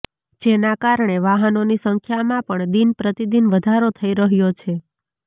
જેના કારણે વાહનોની સંખ્યામાં પણ દીન પ્રતિદિન વધારો થઇ રહ્યો છે